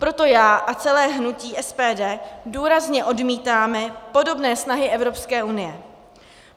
Proto já a celé hnutí SPD důrazně odmítáme podobné snahy Evropské unie.